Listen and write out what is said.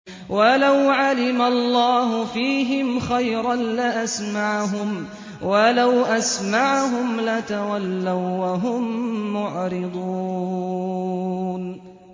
وَلَوْ عَلِمَ اللَّهُ فِيهِمْ خَيْرًا لَّأَسْمَعَهُمْ ۖ وَلَوْ أَسْمَعَهُمْ لَتَوَلَّوا وَّهُم مُّعْرِضُونَ